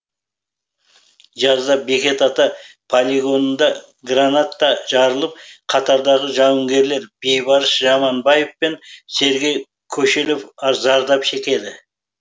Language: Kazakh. жазда бекет ата полигонында граната жарылып қатардағы жауынгерлер бейбарыс жаманбаев пен сергей кошелев зардап шегеді